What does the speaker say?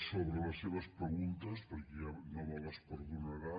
sobre les seves preguntes perquè no me les perdonarà